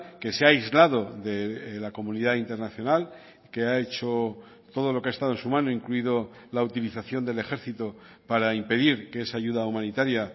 que se ha aislado de la comunidad internacional que ha hecho todo lo que ha estado en su mano incluido la utilización del ejército para impedir que esa ayuda humanitaria